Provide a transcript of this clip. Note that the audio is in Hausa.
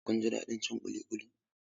Kuna jin daɗin cin ƙuli ƙuli?